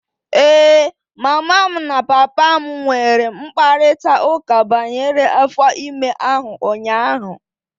Ee, mama m na papa m nwere mkparịta ụka banyere afọ ime ahụ ụnyaahụ.